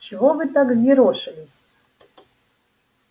чего вы так взъерошились